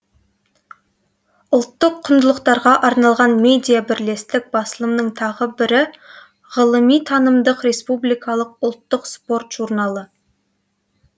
ұлттық құндылықтарға арналған медиа бірлестік басылымының тағы бірі ғылыми танымдық республикалық ұлттық спорт журналы